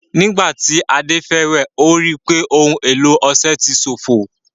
Nígbà tí Ade fẹ́ wẹ̀, ó rí i pé ohun èlò ọṣẹ ti ṣófo